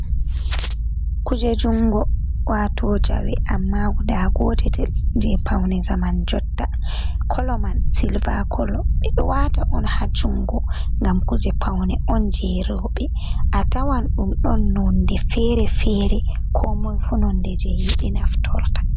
Kuje jungo wato jawe amma guda gotetel je paune zaman jotta, kolo man silva kolo, ɓeɗo wata on ha jungo ngam kuje paune on je roɓe, a tawan ɗum on nonde fere-fere ko moi fu nonde je yiɗi naftorta.